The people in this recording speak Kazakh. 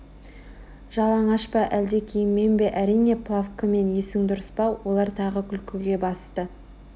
жалаңаш па әлде киіммен бе әрине плавкамен есің дұрыс па олар тағы күлкіге басты